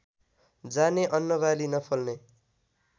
जाने अन्नबाली नफल्ने